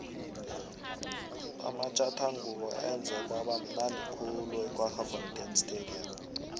amatjathangubo enze kwaba mnundi khulu ekwaggafontein stadium